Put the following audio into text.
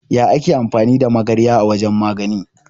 Ya ake amfani da magarya a wajan magani?